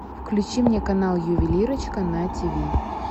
включи мне канал ювелирочка на тв